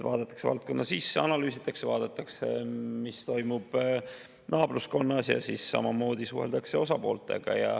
Vaadatakse valdkonna sisse, analüüsitakse, vaadatakse, mis toimub naabruskonnas, ja samamoodi suheldakse osapooltega.